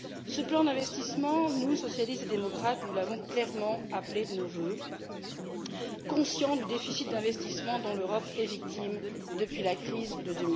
Ce plan d'investissement, nous, socialistes et démocrates, l'avons clairement appelé de nos vœux, conscients du déficit d'investissement dont l'Europe est victime depuis la crise de